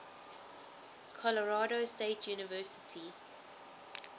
colorado state university